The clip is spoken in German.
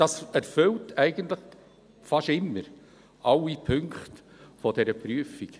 Es erfüllt eigentlich fast immer alle Punkte dieser Prüfung.